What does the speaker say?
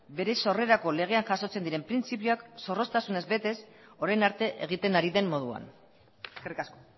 bere sorrerako legean jasotzen diren printzipioak zorroztasunez betez orain arte egiten ari den moduan eskerrik asko